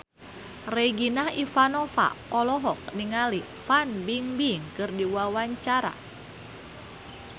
Regina Ivanova olohok ningali Fan Bingbing keur diwawancara